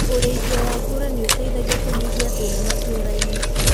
Urĩithia wa ngũrũe nĩ ũteithagia kũnyihia thĩna matũũra-inĩ.